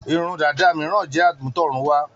Irun dàda mìíràn jẹ́ àmútọ̀runwá.